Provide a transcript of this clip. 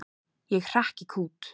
Ég hrekk í kút.